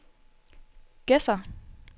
Gedser